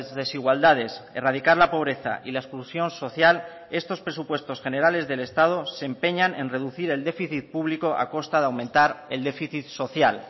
desigualdades erradicar la pobreza y la exclusión social estos presupuestos generales del estado se empeñan en reducir el déficit público a costa de aumentar el déficit social